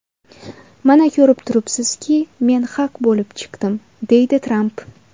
Mana ko‘rib turibsizki, men haq bo‘lib chiqdim”, deydi Tramp.